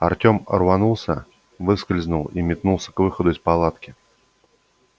артём рванулся выскользнул и метнулся к выходу из палатки